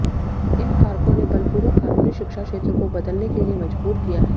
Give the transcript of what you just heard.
इन कारकों ने बलपूर्वक कानूनी शिक्षा क्षेत्र को बदलने के लिए मजबूर किया है